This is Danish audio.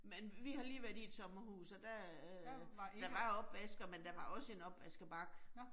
Men vi har lige været i et sommerhus, og der øh der var opvasker, men der var også en opvaskebakke